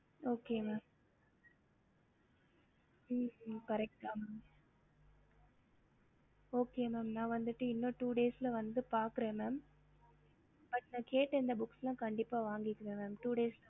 ஹம்